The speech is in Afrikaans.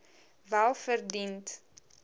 welverdiend